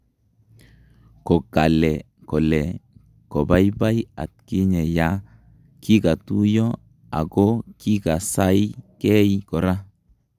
kokale kole kobaybay atkinye ya kikatuiyo akokikaasaay gey gora